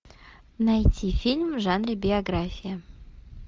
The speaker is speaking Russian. найти фильм в жанре биография